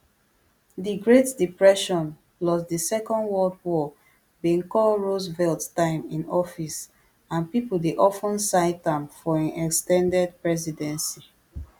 di great depression plus di second world war bin call roosevelt time in office and pipo dey of ten cite am for im ex ten ded presidency